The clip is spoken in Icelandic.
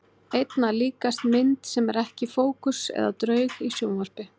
Einna líkast mynd sem er ekki í fókus eða draug í sjónvarpi.